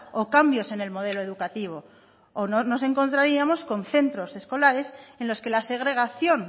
o cambios en el modelo educativo o no nos encontraríamos con centros escolares en los que la segregación